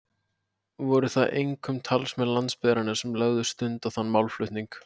Voru það einkum talsmenn landsbyggðarinnar sem lögðu stund á þann málflutning.